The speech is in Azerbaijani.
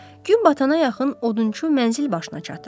Gün batana yaxın odunçu mənzil başına çatır.